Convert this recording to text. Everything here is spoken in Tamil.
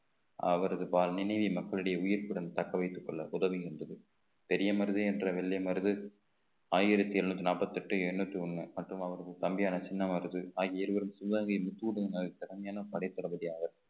அவரது வாழ்~ நினைவிலும் மக்களிடையே உயிர்ப்புடன் தக்க வைத்துக் கொள்ள உதவுகின்றது பெரிய மருது என்ற வெள்ளை மருது ஆயிரத்தி எழுநூத்தி நாப்பத்தெட்டு எண்ணூத்தி ஒண்ண மற்றும் அவரது தம்பியான சின்ன மருது ஆகிய இருவரும் சிவகங்கை திறமையான படைத் தளபதி அவர்